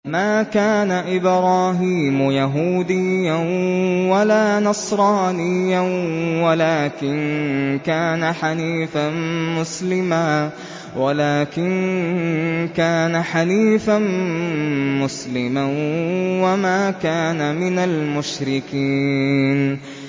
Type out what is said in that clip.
مَا كَانَ إِبْرَاهِيمُ يَهُودِيًّا وَلَا نَصْرَانِيًّا وَلَٰكِن كَانَ حَنِيفًا مُّسْلِمًا وَمَا كَانَ مِنَ الْمُشْرِكِينَ